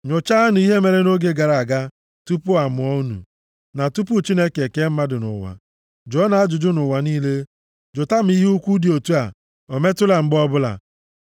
Nyochaanụ ihe mere nʼoge gara aga, tupu a mụọ unu, na tupu Chineke ekee mmadụ nʼụwa. Jụọnụ ajụjụ nʼụwa niile, jụta ma ihe ukwu dị otu a o metụla mgbe ọbụla.